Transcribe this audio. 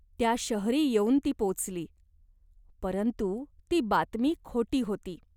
त्या शहरी येऊन ती पोचली. परंतु ती बातमी खोटी होती.